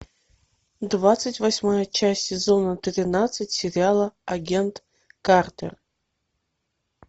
двадцать восьмая часть сезона тринадцать сериала агент картер